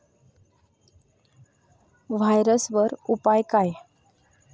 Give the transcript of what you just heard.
व्हायरसवर उपाय काय?